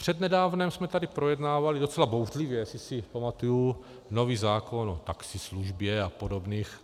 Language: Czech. Přednedávnem jsme tady projednávali, docela bouřlivě, jestli si pamatuji, nový zákon o taxislužbě a podobných.